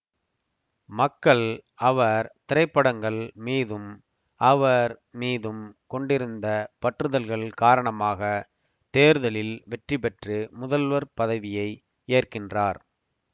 மக்கள் அவர் திரைப்படங்கள் மீதும் அவர் மீதும் கொண்டிருந்த பற்றுதல்கள் காரணமாக தேர்தலில் வெற்றிபெற்று முதல்வர் பதவியை ஏற்கின்றார்